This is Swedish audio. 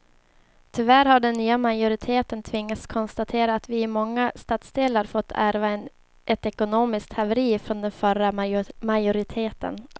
Tyvärr har den nya majoriteten tvingats konstatera att vi i många stadsdelar fått ärva ett ekonomiskt haveri från den förra majoriteten.